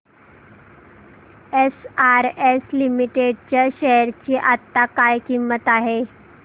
SRS limited च्या share ची आता काय किंमत आहे